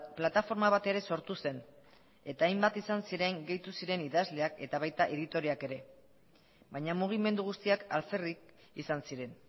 plataforma bat ere sortu zen eta hainbat izan ziren gehitu ziren idazleak eta baita editoreak ere baina mugimendu guztiak alferrik izan ziren